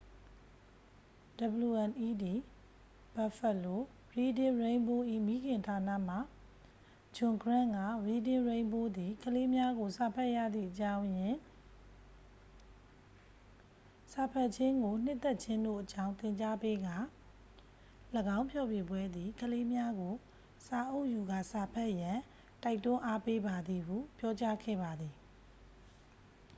"wned buffalo reading rainbow ၏ မိခင်ဌာန မှ ဂျွန်ဂရန့် က "reading rainbow သည် ကလေးများကို စာဖတ်ရသည့်အကြောင်းရင်း၊...စာဖတ်ခြင်းကိုနှစ်သက်ခြင်းတို့အကြောင်း သင်ကြားပေးကာ — [၎င်းဖျော်ဖြေပွဲ] သည် ကလေးများကို စာအုပ်ယူကာစာဖတ်ရန် တိုက်တွန်းအားပေးပါသည်" ဟု ပြောကြားခဲ့ပါသည်။